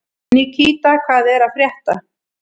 Nikíta, hvað er að frétta?